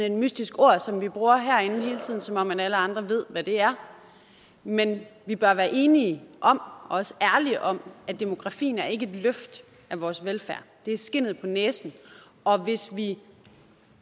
et mystisk ord som vi bruger herinde som om alle andre ved hvad det er men vi bør være enige om og også ærlige om at demografien ikke er et løft af vores velfærd det er skindet på næsen og hvis vi